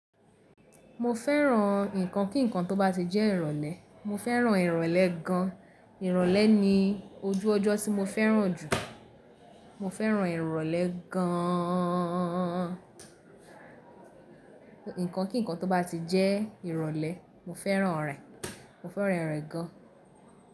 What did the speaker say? Mo fẹ́ràn ǹkan kí ǹkan tó bá ti jẹ́ ìrọ̀lẹ́, mo fẹ́ràn ìrọ̀lẹ́ gan. Ìrọ̀lẹ́ ni ojú ọjọ́ tí mo fẹ́ràn jù. Mo fẹ́ràn ìrọ̀lẹ́ gaaan. Ǹkan kí ǹkan tó bá ti jẹ́ ìrọ̀lẹ́, mo fẹ́ràn rẹ̀, mo fẹ́ràn ìrọ̀lẹ́ gan.